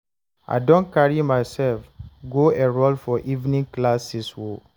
I don carry myself go enrol for evening classes o